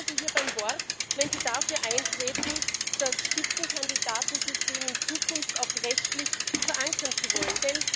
Ich nehme Sie hier beim Wort, wenn Sie dafür eintreten, das Spitzenkandidatensystem in Zukunft auch rechtlich verankern zu wollen.